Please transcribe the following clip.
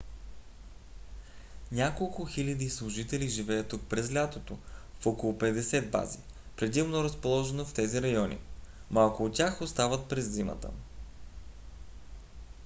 няколко хиляди служители живеят тук през лятото в около петдесет бази предимно разположени в тези райони; малко от тях остават през зимата